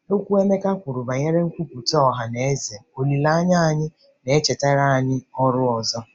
Okwu Emeka kwuru banyere "nkwupụta ọha na eze olileanya anyị" na-echetara anyị ọrụ ọzọ.